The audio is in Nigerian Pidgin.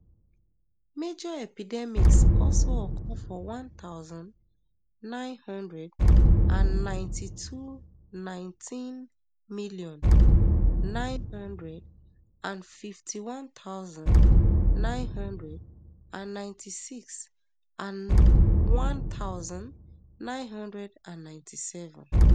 major epidemics also occur for one thousand, nine hundred and ninety-two nineteen million, nine hundred and fifty-one thousand, nine hundred and ninety-six and and one thousand, nine hundred and ninety-seven